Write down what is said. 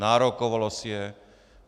Nárokovalo si je.